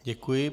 Děkuji.